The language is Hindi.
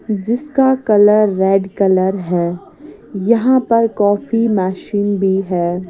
जिसका कलर रेड कलर है यहां पर कॉफी मशीन भी है।